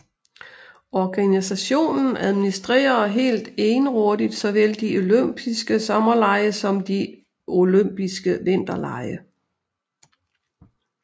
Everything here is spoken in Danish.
Organisationen administrerer helt egenrådigt såvel de olympiske sommerlege som de olympiske vinterlege